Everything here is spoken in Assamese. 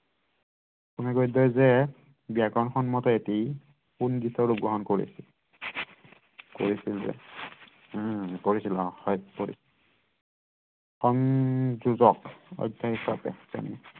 অসমীয়া গদ্যই যে ব্যাকৰণ সন্মত এটি পুনগীতৰ ৰূপ গ্ৰহণ কৰিছিল কৰিছিল যে উম কৰিছিল হেইত তেৰি সংযোজক অধ্যায়ৰ বাবে